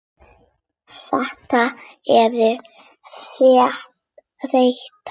Þetta eru hrein tár.